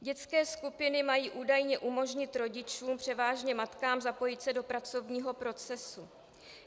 Dětské skupiny mají údajně umožnit rodičům, převážně matkám, zapojit se do pracovního procesu.